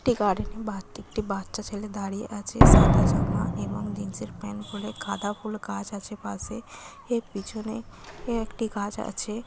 একটি গার্ডেনে বাঁ দিকটে একটি বাচ্চা ছেলে দাঁড়িয়ে আছে সাদা জামা এবং জিন্স -এর প্যান্ট পরে । গাঁদা ফুল গাছ আছে পাশে । এর পিছনে একটি গাছ আছে।